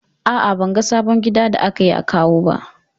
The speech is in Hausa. A'a, ban ga sabon gada da aka yi a Kawo ba.